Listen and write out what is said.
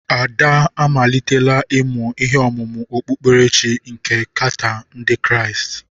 Ada amalitela ịmụ ihe ọmụmụ okpukperechi nke Qatar ndị Kraịst.